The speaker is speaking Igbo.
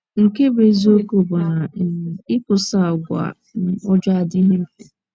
Nke bụ́ eziokwu bụ na um ịkwụsị àgwà um ọjọọ adịghị mfe.